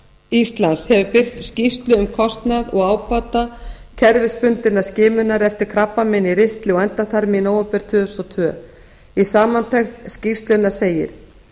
íslands hefur birt skýrslu um kostnað og ábata kerfisbundinnar skimunar eftir krabbameini í ristli og endaþarmi í nóvember tvö þúsund og tvö í samantekt skýrslunnar segir